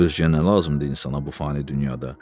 Ölçə nə lazımdır insana bu fani dünyada?